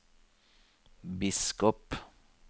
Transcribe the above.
biskop